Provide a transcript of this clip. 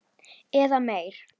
Eða meiri.